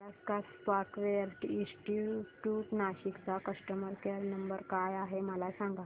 Alaska software institute Nashik चा customer care number काय आहे मला सांग